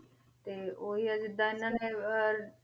ਤੇ ਉਹੀ ਹੈ ਜਿੱਦਾਂ ਇਹਨਾਂ ਨੇ ਅਹ